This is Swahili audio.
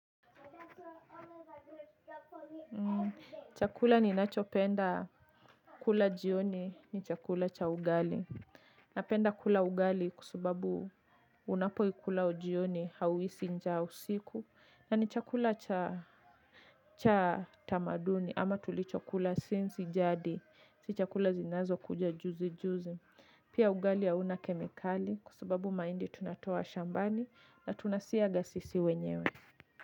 Chakula ninachopenda kula jioni ni chakula cha ugali. Napenda kula ugali kwa sababu unapoikula jioni hauhisi njaa usiku na ni chakula cha tamaduni ama tulichokula since jadi. Si chakula zinazokuja juzi juzi. Pia ugali hauna kemikali kwa sababu mahindi tunatoa shambani na tunasiaga sisi wenyewe.